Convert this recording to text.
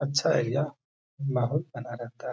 अच्छा एरिया माहौल बना रहता है।